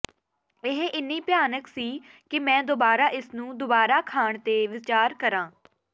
ਇਹ ਇੰਨੀ ਭਿਆਨਕ ਸੀ ਕਿ ਮੈਂ ਦੁਬਾਰਾ ਇਸਨੂੰ ਦੁਬਾਰਾ ਖਾਣ ਤੇ ਵਿਚਾਰ ਕਰਾਂ